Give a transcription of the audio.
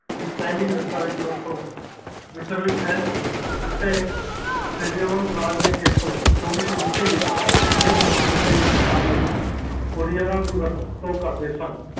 ਦੀ ਪਹਿਲੇ ਦਸ੍ਤਾਵੇਦੀ ਵਸਤੋ ਮਿਸ਼ਨ ਵਿਚ ਹੈ ਜਿਥੇ ਰਾਜ ਦੇ ਖੇਤਰ ਚੋਵੀਸੋ ਵਿਚ ਆਪਣੇ ਫਰਮਾਨਾ ਦੇ ਪ੍ਰਸਾਰ ਵਿਚ ਉਣਿਆ ਦੀ ਵਰਦੋ ਕਰਦੇ ਹਨ